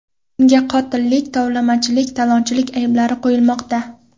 Unga qotillik, tovlamachilik, talonchilik ayblari qo‘yilmoqda.